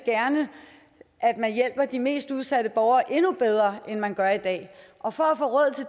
at man hjælper de mest udsatte borgere endnu bedre end man gør i dag og for at få råd